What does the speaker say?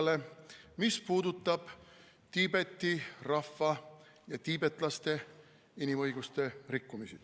Arupärimine puudutab Tiibeti rahva ja tiibetlaste inimõiguste rikkumisi.